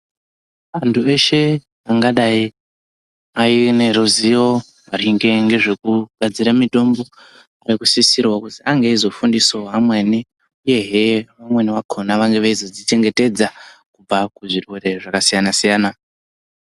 Antu eshe angadai aine ruzivo maringe ngezvekugadzira mitombo. Nekusisirwa kuzi ange eizofundisavo amweni, uyehe vamweni vakona vange veizozvichengetedza kubva kuzvirwere zvakasiyana-siyana.